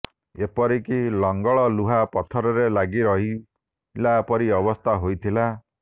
ଏପରି କି ଲଙ୍ଗଳ ଲୁହା ପଥରରେ ଲାଗି ରହିଲା ପରି ଅବସ୍ଥା ହୋଇଥିଲା